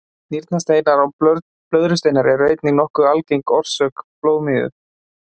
Nýrnasteinar og blöðrusteinar eru einnig nokkuð algeng orsök blóðmigu.